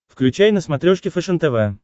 включай на смотрешке фэшен тв